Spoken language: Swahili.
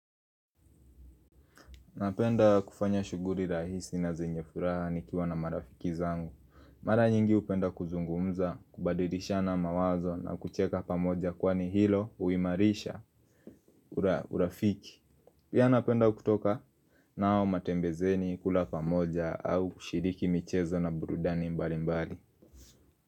Napenda kufanya shughuli rahisi na zenye furaha nikiwa na marafiki zangu. Mara nyingi hupenda kuzungumza, kubadilishana mawazo na kucheka pamoja kwani hilo uhimarisha urafiki. Pia napenda kutoka nao matembezini kula pamoja au kushiriki michezo na burudani mbali mbali.